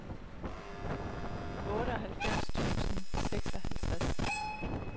otteoghalvfems tusind og seksoghalvtreds